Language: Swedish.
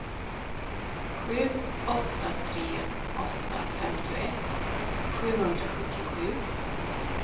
sju åtta tre åtta femtioett sjuhundrasjuttiosju